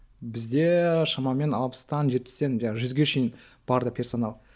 бізде шамамен алпыстан жетпістен жүзге шейін персонал